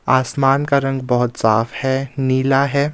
आसमान का रंग बहोत साफ है नीला है।